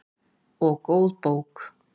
Og góð bók.